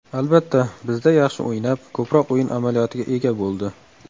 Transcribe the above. Albatta, bizda yaxshi o‘ynab, ko‘proq o‘yin amaliyotiga ega bo‘ldi.